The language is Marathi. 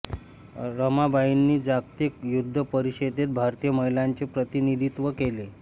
रमाबाईंनी जागतिक युद्ध परिषदेत भारतीय महिलांचे प्रतिनिधित्व केले